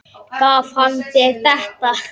Gaf hann þér þetta?